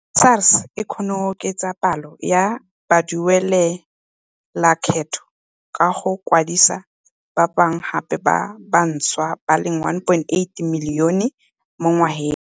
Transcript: SARS e kgonne go oketsa palo ya baduelalekgetho ka go kwadisa ba bangwe gape ba bantšhwa ba le 1.8 milione mo ngwageng.